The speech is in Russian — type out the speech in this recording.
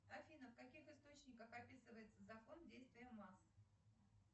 афина в каких источниках описывается закон действия масс